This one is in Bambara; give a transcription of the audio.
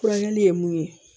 Furakɛli ye mun ye